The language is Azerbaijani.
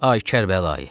Ay Kərbəlayı.